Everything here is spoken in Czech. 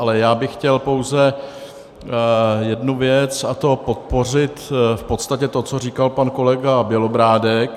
Ale já bych chtěl pouze jednu věc, a to podpořit v podstatě to, co říkal pan kolega Bělobrádek.